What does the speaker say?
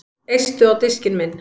Eistu á diskinn minn